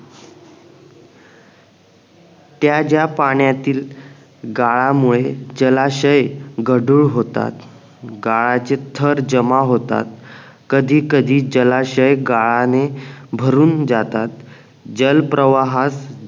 त्या ज्या पाण्यातील गाळामुळे जलाशय गढूळ होतात गाळाचे थर जमा होतात कधी कधी जलाशय गाळाने भरून जातात जलप्रवाहात